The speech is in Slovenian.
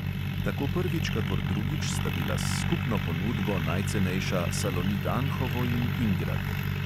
Tako prvič kakor drugič sta bila s skupno ponudbo najcenejša salonit anhovo in ingrad.